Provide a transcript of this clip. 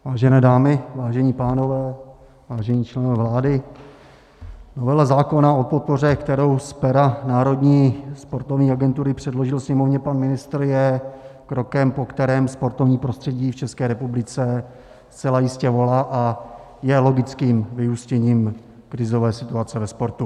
Vážené dámy, vážení pánové, vážení členové vlády, novela zákona o podpoře, kterou z pera Národní sportovní agentury předložil Sněmovně pan ministr, je krokem, po kterém sportovní prostředí v České republice zcela jistě volá, a je logickým vyústěním krizové situaci ve sportu.